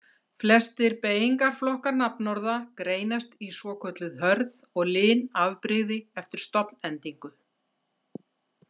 Flestir beygingarflokkar nafnorða greinast í svokölluð hörð og lin afbrigði eftir stofnendingu.